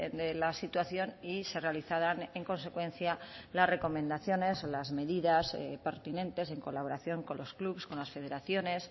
de la situación y se realizaran en consecuencia las recomendaciones o las medidas pertinentes en colaboración con los clubs con las federaciones